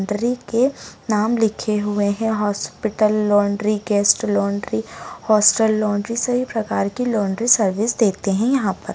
Laundry के नाम लिखे हुए हैं hospital laundry guest laundry hostel laundry सभी प्रकार की लॉन्ड्री सर्विस देते हैं यहाँ पर।